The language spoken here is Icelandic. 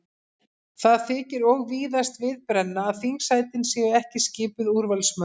Það þykir og víðast við brenna að þingsætin séu ekki skipuð úrvalsmönnum.